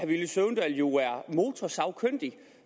villy søvndal jo er motorsagkyndig